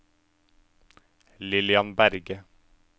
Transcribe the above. Lillian Berge